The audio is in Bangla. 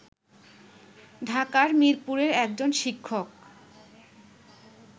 ঢাকার মিরপুরের একজন শিক্ষক